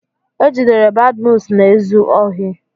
E jidere Badmus na-ezu ohi.